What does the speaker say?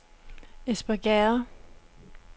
Espergærde